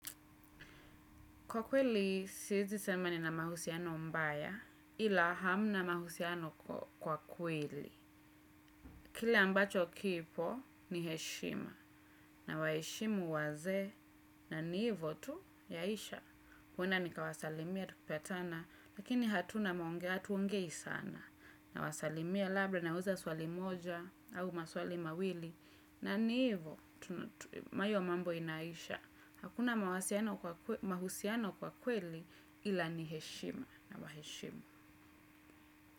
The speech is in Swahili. Kwa kweli, siezi sema ni na mahusiano mbaya, ila hamna mahusiano kwa kweli. Kile ambacho kipo ni heshima, na waheshimu wazee, na ni hivo tu yaisha. Huenda nikawasalimia tukipatana, lakini hatuongei sana. Na wasalimia labda na wauliza swali moja, au maswali mawili, na ni hivo, hiyo mambo inaisha. Hakuna mahusiano kwa kweli ilani heshima na waheshima.